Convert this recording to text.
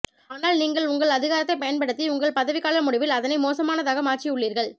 ஆனால் நீங்கள் உங்கள் அதிகாரத்தை பயன்படுத்தி உங்கள் பதவிக்கால முடிவில் அதனை மோசமானதாக மாற்றியுள்ளீர்கள்